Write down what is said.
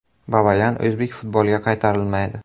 Babayan o‘zbek futboliga qaytarilmaydi.